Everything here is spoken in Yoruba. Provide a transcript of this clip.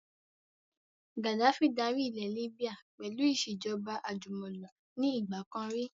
Gaddafi dárí ilẹ̀ Líbíà pẹ̀lú ìsèjọba àjùmọ̀lo ni ìgbàkan rí